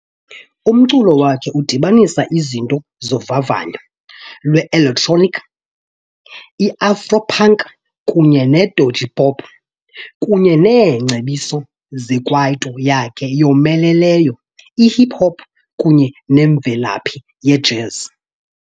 Umculo wakhe udibanisa izinto zovavanyo lwe-elektroniki, i-afro-punk kunye ne-edgy-pop kunye neengcebiso zekwaito yakhe eyomeleleyo, ihip hop kunye nemvelaphi yejazz.